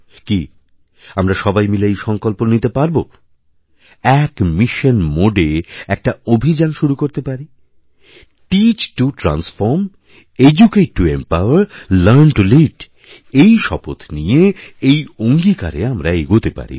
কি আমরা সবাই মিলে এই সংকল্পনিতে পারবো এক মিশন মোড এ একটা অভিযান শুরু করতে পারি teach to transform educate to empower learn to lead এই শপথ নিয়ে এই অঙ্গীকারে আমরা এগোতে পারি